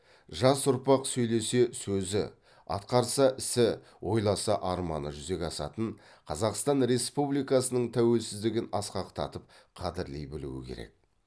жас ұрпақ сөйлесе сөзі атқарса ісі ойласа арманы жүзеге асатын қазақстан республикасының тәуелсіздігін асқақтатып қадірлей білуі керек